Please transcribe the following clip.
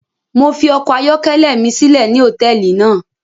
Mo fi ọkọ ayọkẹlẹ mi silẹ ni hotẹẹli náa